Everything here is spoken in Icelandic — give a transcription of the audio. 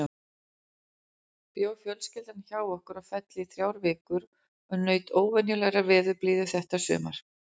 Bjó fjölskyldan hjá okkur á Felli í þrjár vikur og naut óvenjulegrar veðurblíðu þetta sumar.